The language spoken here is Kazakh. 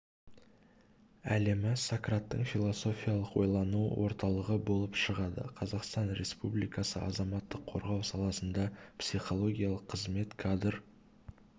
әлемі сократтың философиялық ойлану орталығы болып шығады қазақстан республикасы азаматтық қорғау саласында психологиялық қызмет кадр